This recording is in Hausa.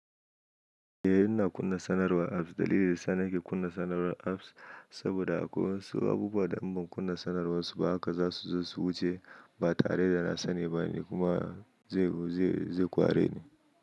Eh ina kunna sanarwa apps. Dalili dayasa nake kunna sanarwar apps, saboda akwai wasu abubuwa da inban kunna sanarwar suba haka za suzo su wuce ba tareda na sani bane kuma zai ƙwareni.